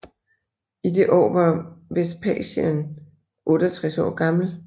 I det år var Vespasian 68 år gammel